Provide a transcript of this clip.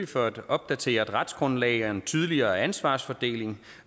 for et opdateret retsgrundlag en tydeligere ansvarsfordeling